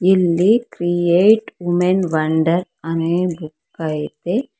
ಇಲ್ಲಿ create women wonder ಅನ್ನೆ book ಐತೆ.